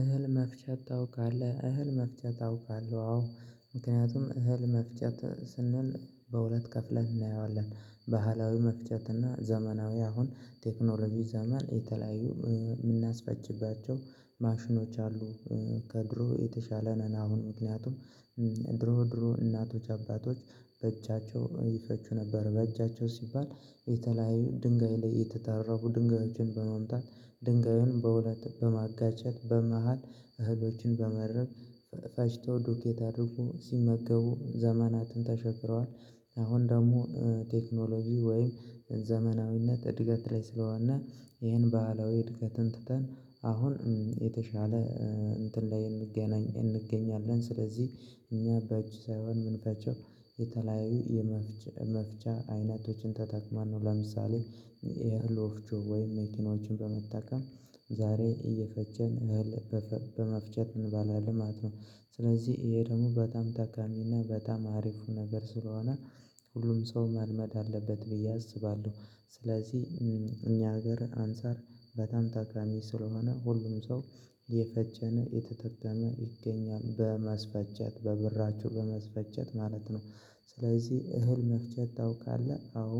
እህል መፍጨት ታውቃለህ? እህል መፍጨት ታውቃለህ አዎ ምክንያቱም እህል መፍጨት ስንል በሁለት ከፍለን እናየዋለን ባህላዊ መፍጨት እና ዘመናዊ አሁን ቴክኖሎጂ ዘመን የተለያዩ የምናስፈጭባቸው ማሽኖች አሉ ከድሮ የተሻለ ነን አሁን ምክንያቱም ድሮ ድሮ እናቶች አባቶች በእጃቸው ይፈጩ ነበር በእጃቸው ሲባል የተለያዩ ድንጋይ ላይ የተጠራቡ ድንጋዮችን በመምታት ድንጋዩን በሁለት በማጋጨት በመሃል እህሎችን በመድረግ ፈጭተው ዱቄት አድርገው ሲመገቡ ዘመናትን ተሻግረዋል አሁን ደግሞ ቴክኖሎጂ ወይም ዘመናዊነት እድገት ላይ ስለዋና ይሄን ባህላዊ እድገትን ትተን አሁን የተሻለ እንትን ላይ እንገናኝ እንገኛለን ስለዚህ እኛ በእጅ ሳይሆን ምንፈጨው የተለያዩ የመፍጫ አይነቶችን ተጠቅማን ነው ለምሳሌ የእህል ወፍቾ ወይም መኪኖችን በመጠቀም ዛሬ እየፈጨን እህል በመፍጨት እንበላለን ማለት ነው፣ ስለዚህ ይሄ ደግሞ በጣም ተቃሚና በጣም አሪፉ ነገር ስለሆነ ሁሉም ሰው መልመድ አለበት ብዬ አስባለሁ፣ ስለዚህ እኛ ሀገር አንፃር በጣም ተቃሚ ስለሆነ ሁሉም ሰው እየፈጨነ እየተጠቀመ ይገኛል በማስፈጨት በብራችሁ በማስፈጨት ማለት ነው። ስለዚህ እህል መፍጨት ታውቃለህ አዎ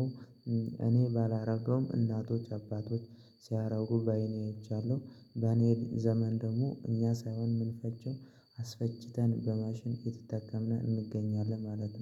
እኔ ባላደርገውም እናቶች አባቶች ሲያደርጉ በአይኔ አይቻለሁ በኔ ዘመን ደግሞ እኛ ሳይሆን የምንፈጨው አስፈጭተን በማሽን እየተጠቀምን እንገኛለን ማለት ነው።